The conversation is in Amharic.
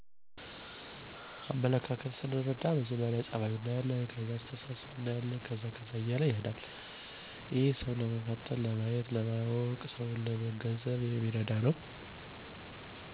አመለካከት ሰንርዳ መጀመሪ ፀበይ እንመለከታለን ሲቀጥል ለሰውች ምን አይነት አመለካከተ አለው የሚለውን እንርዳለን።